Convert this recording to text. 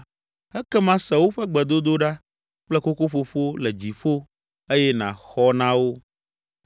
ekema se woƒe gbedodoɖa kple kokoƒoƒo le dziƒo eye nàxɔ na wo.